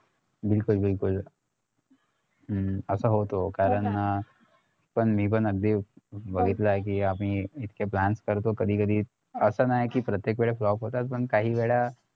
बिलकुल बिलकुल हम्म असं होत कारण पण मी पण अगदी बघितलं कि आम्ही इतके plans करतो कधी कधी असं नाय कि प्रत्येकवेळा flop होतात पण काही वेळा